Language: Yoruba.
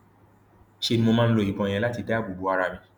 ṣe ni mo máa ń lo ìbọn yẹn láti dáàbò bo ara mi